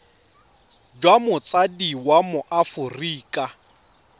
jwa motsadi wa mo aforika